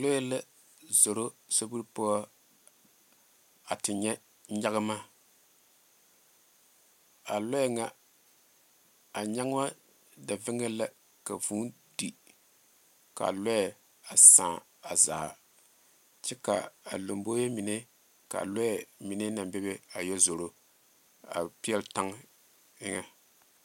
Lɔɛ la zoro sobiiri poɔ a te nyɛ nyanma a lɔɛ nyɛ nyanma da vaŋa la ka vūū di kaa lɔɛ a saa a zaa kyɛ ka lanboɛ mine ka lɔɛ mine naŋ be be a pɛle tan eŋa.